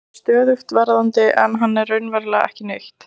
Hann er stöðugt verðandi en hann er raunverulega ekki neitt.